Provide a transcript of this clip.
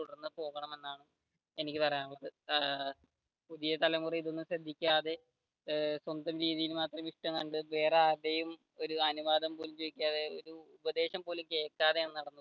എനിക്ക് പറയാനുള്ളത് ഏർ പുതിയ തലമുറ ഇതൊന്നും ശ്രദ്ധിക്കാതെ ഏർ സ്വന്തം രീതിയിൽ വേറെ ആരുടേയും അനുവാദം പോലും ചോദിക്കാതെ ഉപദേശം പോലും കേൾക്കാതെയാണ്